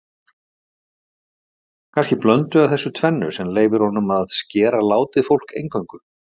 Kannski blöndu af þessu tvennu sem leyfir honum að skera látið fólk eingöngu.